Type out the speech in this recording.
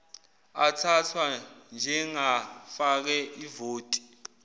athathwa njengafake ivoti